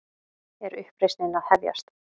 Er uppreisnin að hefjast?